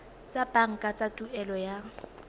tsa banka tsa tuelo ya